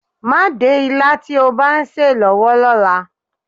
Má dé ilá tí ó bá ń sè é lọ́wọ́ lọ́la.